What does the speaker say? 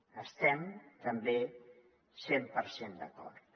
hi estem també cent per cent d’acord